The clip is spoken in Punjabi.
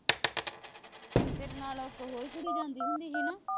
ਤੇਰੇ ਨਾਲ ਇੱਕ ਹੋਰ ਕੁੜੀ ਜਾਂਦੀ ਹੁੰਦੀ ਸੀ ਨਾ